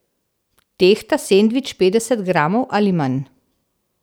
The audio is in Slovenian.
Tehta sendvič petdeset gramov ali manj?